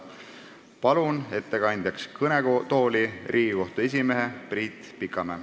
Palun ettekandeks kõnetooli Riigikohtu esimehe Priit Pikamäe.